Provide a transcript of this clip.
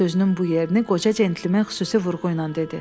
sözünün bu yerini qoca centlmen xüsusi vurğu ilə dedi.